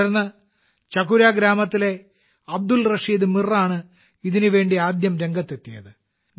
തുടർന്ന് ചകുര ഗ്രാമത്തിലെ അബ്ദുൾ റഷീദ് മീറാണ് ഇതിനായി ആദ്യം രംഗത്തെത്തിയത്